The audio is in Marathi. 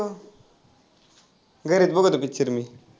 घरीच बघतो picture मी.